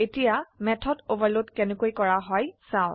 এতিয়া method overload কেনেকৈ কৰা হয় চাও